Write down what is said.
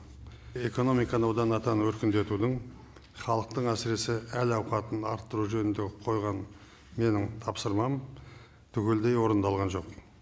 экономиканы одан атан өркендетудің халықтың әсіресе әл ауқатын арттыру жөнінде қойған менің тапсырмам түгелдей орындалған жоқ